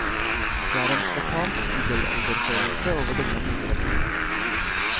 Det er en spartansk middelalderfølelse over denne moteretningen.